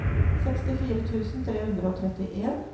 sekstifire tusen tre hundre og trettien